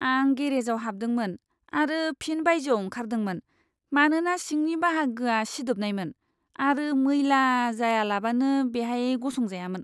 आं गेरेजाव हाबदोंमोन आरो फिन बायजोआव ओंखारदोंमोन मानोना सिंनि बाहागोआ सिदोबनायमोन आरो मैला जायालाबानो बेहाय गसं जायामोन।